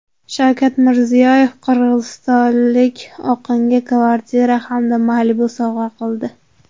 Shavkat Mirziyoyev qirg‘izistonlik oqinga kvartira hamda Malibu sovg‘a qildi.